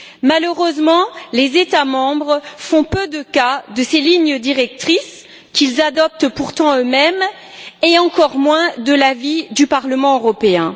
Malheureusement, les États membres font peu de cas de ces lignes directrices, qu'ils adoptent pourtant eux mêmes, et encore moins de l'avis du Parlement européen.